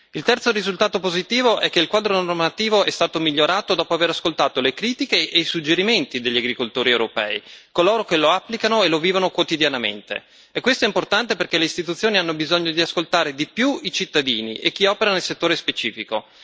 Il terzo risultato positivo è che il quadro normativo è stato migliorato dopo aver ascoltato le critiche e i suggerimenti degli agricoltori europei, coloro che lo applicano e lo vivono quotidianamente, e questo è importante perché le istituzioni hanno bisogno di ascoltare di più i cittadini e chi opera nel settore specifico.